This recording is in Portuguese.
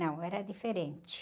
Não, era diferente.